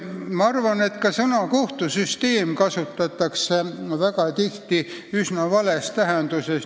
Ma arvan, et ka sõna "kohtusüsteem" kasutatakse väga tihti üsna vales tähenduses.